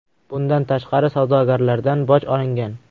Bundan tashqari, savdogarlardan boj olingan.